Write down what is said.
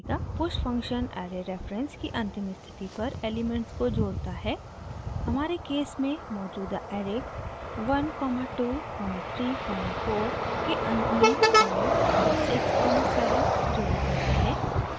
push function array reference की अंतिम स्थिति पर एलिमेंट्स को जोड़ता है हमारे केस में मौजूदा ऐरे 1 2 3 4 के अंत में 5 6 7 जोड़े जाते हैं